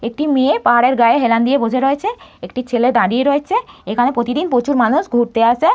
একটি মেয়ে পাহাড়ের গায়ে হেলান দিয়ে বসে রয়েছে। একটি ছেলে দাঁড়িয়ে রয়েছে। এখানে প্রতিদিন প্রচুর মানুষ ঘুরতে আসে।